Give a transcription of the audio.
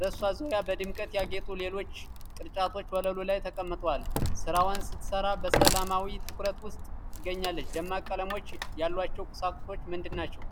በእሷ ዙሪያ፣ በድምቀት ያጌጡ ሌሎች ቅርጫቶች ወለሉ ላይ ተቀምጠዋል። ስራዋን ስትሰራ በሰላማዊ ትኩረት ውስጥ ትገኛለች። ደማቅ ቀለሞች ያሏቸው ቁሳቁሶች ምንድናቸው?